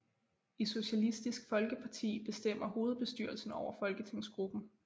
I Socialistisk Folkeparti bestemmer hovedbestyrelsen over folketingsgruppen